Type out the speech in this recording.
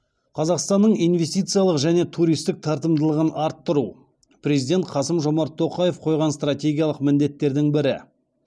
қазақстанның инвестициялық және туристік тартымдылығын арттыру президент қасым жомарт тоқаев қойған стратегиялық міндеттердің бірі